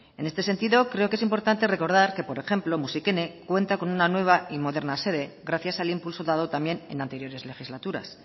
en este sentido creo que es importante recordar que por ejemplo musikene cuenta con una nueva y moderna sede gracias al impulso dado también en anteriores legislaturas